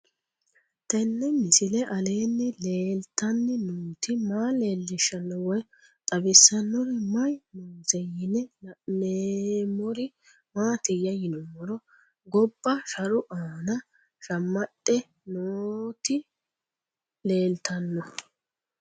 Tenni misile aleenni leelittanni nootti maa leelishshanno woy xawisannori may noosse yinne la'neemmori maattiya yinummoro gobba sharu aanna shammaxxe nootti leelittanno